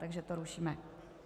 Takže to rušíme.